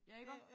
Ja iggå